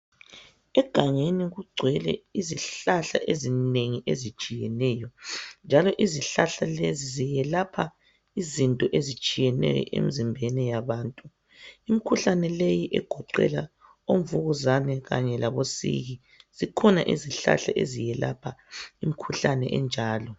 Egangeni kugcwele izihlahla ezinengi ezitshiyeneyo njalo izihlahla lezi zelapha izinto ezitshiyeneyo. Imikhuhlane leyi egoqela omvukuzane kanye labosiki zikhona izihlahla ezelapha leyo mikhuhlane.